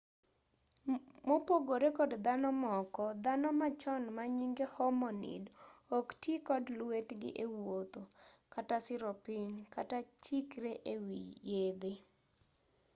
mopogore kod dhano moko dhano machon manyinge homonid ok tii kod lwetgi ewuotho kata siro piny kata chikre ewii yedhee